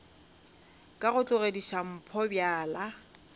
ka go tlogediša mpho bjala